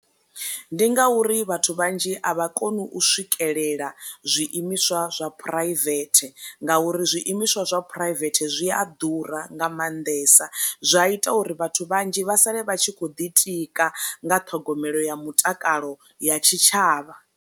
Ndi ngauri vhathu vhanzhi a vha koni u swikelela zwi imiswa zwa phuraivethe ngauri zwi imiswa zwa phuraivethe zwi a ḓura nga maanḓesa zwa ita uri vhathu vhanzhi vha sale vha tshi kho ḓi tika nga ṱhogomelo ya mutakalo ya tshi tshavha.